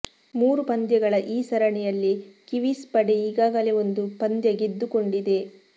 ಮೂರು ಪಂದ್ಯಗಳ ಈ ಸರಣಿಯಲ್ಲಿ ಕಿವೀಸ್ ಪಡೆ ಈಗಾಗಲೇ ಒಂದು ಪಂದ್ಯ ಗೆದ್ದುಕೊಂಡಿದೆ